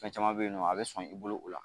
Fɛn caman bɛ yen nɔ a bɛ sɔn i bolo o la